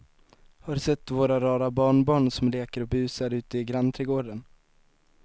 Har du sett våra rara barnbarn som leker och busar ute i grannträdgården!